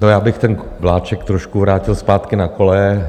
No, já bych ten vláček trošku vrátil zpátky na koleje.